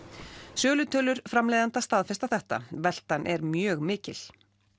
sölutölur framleiðenda staðfesta þetta veltan er mjög mikil